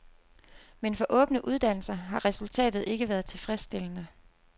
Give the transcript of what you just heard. Men for åbne uddannelser har resultatet ikke været tilfredsstillende.